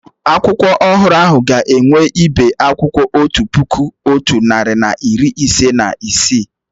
Akwụkwọ ọhụrụ ahụ ga-enwe ibe akwụkwọ otu puku, otu narị na iri ise na isii